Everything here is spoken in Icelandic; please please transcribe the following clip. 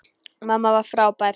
Mamma var frábær.